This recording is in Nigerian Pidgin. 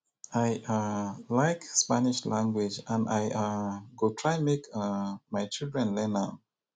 i um like spanish language and i um go try make um my children learn am